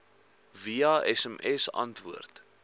via sms antwoord